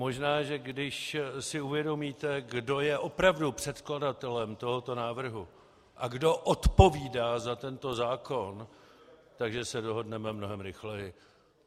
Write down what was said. Možná, že když si uvědomíte, kdo je opravdu předkladatelem tohoto návrhu a kdo odpovídá za tento zákon, tak se dohodneme mnohem rychleji.